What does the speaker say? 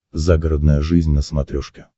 загородная жизнь на смотрешке